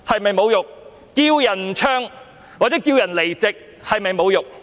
叫人不要唱或叫人離席，是否侮辱？